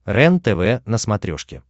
рентв на смотрешке